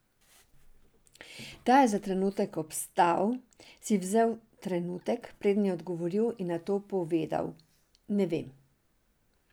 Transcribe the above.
Ta je za trenutek obstal, si vzel trenutek, preden je odgovoril in nato povedal: "Ne vem.